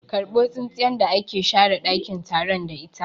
Karbo tsintsiyar da aka share ɗakin taron da ita!